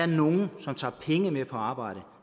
nogle som tager penge med på arbejde